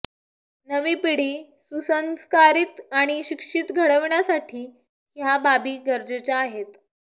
नवी पिढी सुसंस्कारित आणि शिक्षित घडविण्यासाठी ह्या बाबी गरजेच्या आहेत